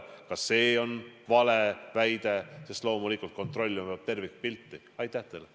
Ka see on vale väide, sest kontrollima peab loomulikult tervikpilti.